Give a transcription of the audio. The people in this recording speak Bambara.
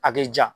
A k'i ja